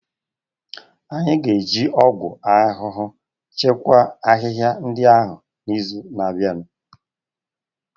Anyị ga-eji ọgwụ ahụhụ chịkwaa ahịhịa ndị ahụ n'izu na-abịa.